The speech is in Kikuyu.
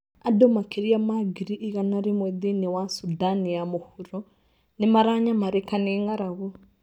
Andũ makĩria ma ngiri igana rĩmwe thĩinĩ wa Sudan ya Mũvuro nĩ maranyamarĩka nĩ ng'aragu